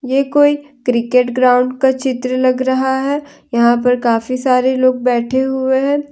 ये कोई cricket ground का चित्र लग रहा है यहां पर काफी सारे लोग बैठे हुए हैं।